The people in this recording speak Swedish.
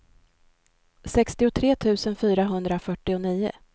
sextiotre tusen fyrahundrafyrtionio